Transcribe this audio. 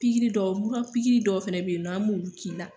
Pikiri dɔw, mura pikiri dɔw fɛnɛ be yen, an b'olu k'i la.